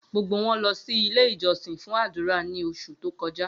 Gbogbo wọn lọ si Ile-ijọsin fun adura ni oṣu to kọja.